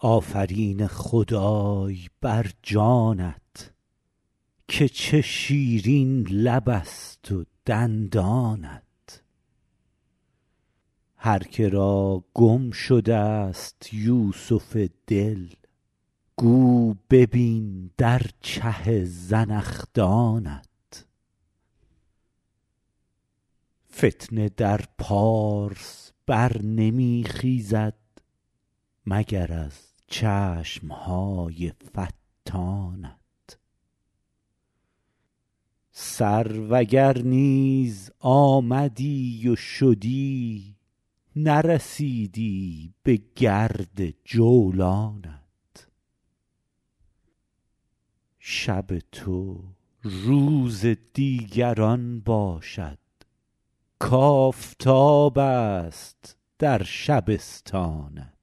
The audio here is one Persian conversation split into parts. آفرین خدای بر جانت که چه شیرین لبست و دندانت هر که را گم شدست یوسف دل گو ببین در چه زنخدانت فتنه در پارس بر نمی خیزد مگر از چشم های فتانت سرو اگر نیز آمدی و شدی نرسیدی بگرد جولانت شب تو روز دیگران باشد کآفتابست در شبستانت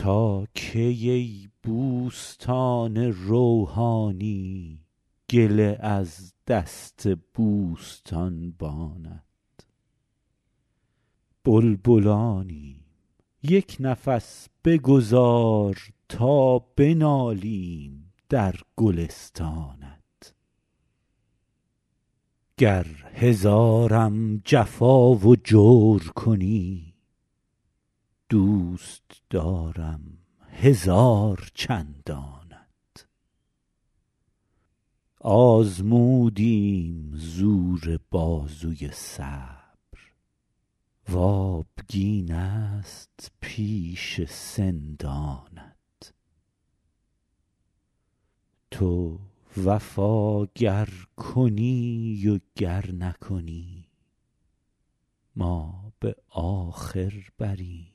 تا کی ای بوستان روحانی گله از دست بوستانبانت بلبلانیم یک نفس بگذار تا بنالیم در گلستانت گر هزارم جفا و جور کنی دوست دارم هزار چندانت آزمودیم زور بازوی صبر و آبگینست پیش سندانت تو وفا گر کنی و گر نکنی ما به آخر بریم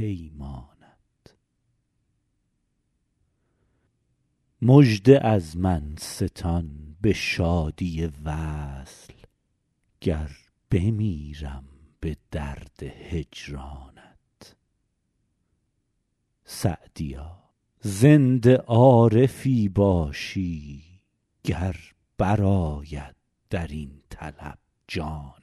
پیمانت مژده از من ستان به شادی وصل گر بمیرم به درد هجرانت سعدیا زنده عارفی باشی گر برآید در این طلب جانت